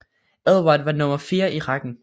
Edvard var nummer fire i rækken